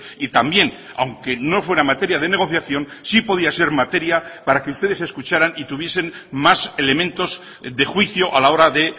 y también aunque no fuera materia de negociación sí podía ser materia para que ustedes escucharan y tuviesen más elementos de juicio a la hora de